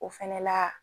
O fɛnɛ la